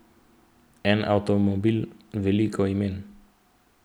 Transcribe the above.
En avtomobil, veliko imen.